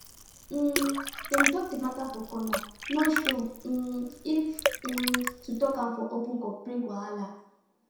um dem talk the matter for corner no sure um if um to talk am for open go bring wahala